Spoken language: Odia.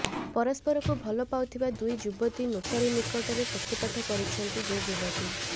ପରସ୍ପରକୁ ଭଲ ପାଉଥିବା ଦୁଇ ଯୁବତୀ ନୋଟାରୀ ନିକଟରେ ସତ୍ୟପାଠ କରିଛନ୍ତି ଦୁଇ ଯୁବତୀ